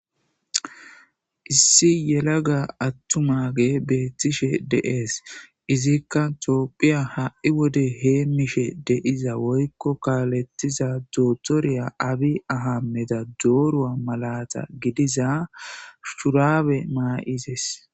Issi yelaga attumage beettishe de'es. Izikka topphiya ha7i wode heemmishe de'iza woykko kaalettiza dootoriya abi ahammeda dooruwa malata gidiza shuraabe maa'izes.